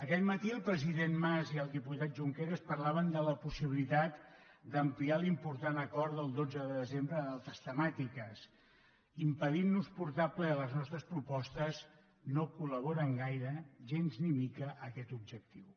aquest matí el president mas i el diputat junqueras parlaven de la possibilitat d’ampliar l’important acord del dotze de desembre d’altres temàtiques impedint nos portar a ple les nostres propostes no col·laboren gaire gens ni mica en aquest objectiu